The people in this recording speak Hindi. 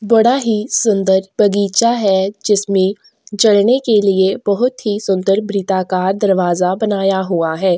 बड़ा ही सुंदर बगीचा है जिसमें चढ़ने के लिए बहोत ही सुंदर वृत्ताकार दरवाजा बनाया हुआ है।